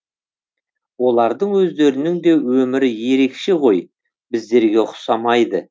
олардың өздерінің де өмірі ерекше ғой біздерге ұқсамайды